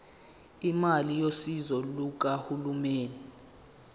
imali yosizo lukahulumeni